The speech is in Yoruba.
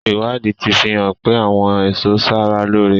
Ìwádìí tí fi hàn pé àwọn èso ń ṣara lóore.